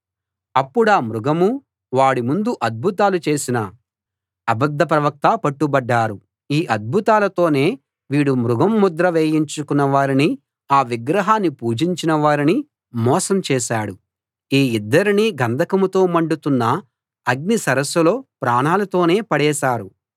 అప్పుడా మృగమూ వాడి ముందు అద్భుతాలు చేసిన అబద్ధ ప్రవక్తా పట్టుబడ్డారు ఈ అద్భుతాలతోనే వీడు మృగం ముద్ర వేయించుకున్న వారిని ఆ విగ్రహాన్ని పూజించిన వారిని మోసం చేశాడు ఈ ఇద్దరినీ గంధకంతో మండుతున్న అగ్ని సరస్సులో ప్రాణాలతోనే పడవేశారు